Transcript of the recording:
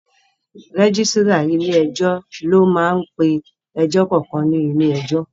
Rẹ́gísírà ilé ẹjọ́ ló máá ń pe ẹjọ́ kankan ní ilé ẹjọ́